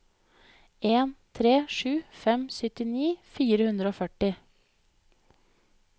en tre sju fem syttini fire hundre og førti